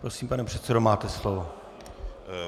Prosím, pane předsedo, máte slovo.